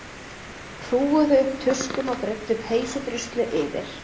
Hrúguðu upp tuskum og breiddu peysudruslu yfir.